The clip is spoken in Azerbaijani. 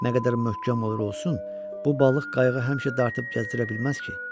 Nə qədər möhkəm olur olsun, bu balıq qayığı həmişə dartıb gəzdirə bilməz ki?